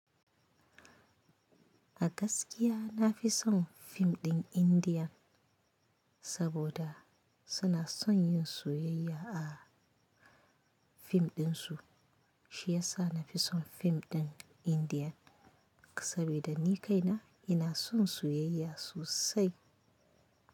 A gaskiya nafi son fim ɗin Indian saboda suna son yin soyayya a fim ɗin su. Shi yasa nafi son fim ɗin Indian saboda ni kaina ina son soyayya sosai.